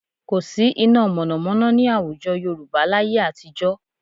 Kò sí iná mọ̀nàmọ́ná ní àwùjọ Yorùbá láyé àtijọ́